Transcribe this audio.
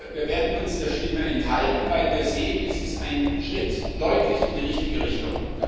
Wir werden uns der Stimme enthalten, weil wir sehen, es ist ein Schritt deutlich in die richtige Richtung.